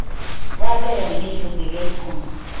Wa mbere nĩ gĩcunjĩ gĩa ikũmi